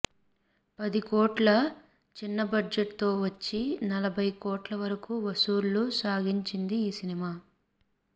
పది కోట్ల చిన్నబడ్జెట్ తో వచ్చి నలభై కోట్ల వరకు వసూళ్లు సాగించింది ఈ సినిమా